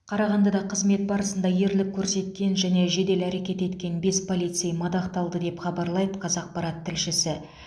қарағандыда қызмет барысында ерлік көсеткен және жедел әрекет еткен бес полицей мадақталды деп хабарлайды қазақпарат тілшісі